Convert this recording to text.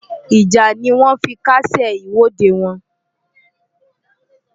Ìjà ni wọ́n fi kásẹ̀ ìwọ́de wọn.